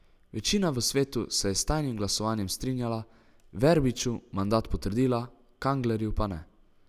Večina v svetu se je s tajnim glasovanjem strinjala, Verbiču mandat potrdila, Kanglerju pa ne.